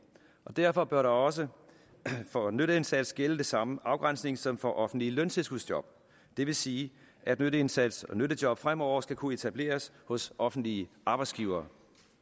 og derfor bør der også for nytteindsats gælde den samme afgrænsning som for offentlige løntilskudsjob det vil sige at nytteindsats og nyttejob fremover skal kunne etableres hos offentlige arbejdsgivere